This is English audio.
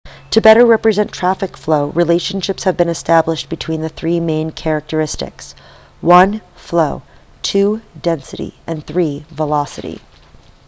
to better represent traffic flow relationships have been established between the three main characteristics: 1 flow 2 density and 3 velocity